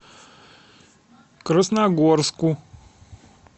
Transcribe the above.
красногорску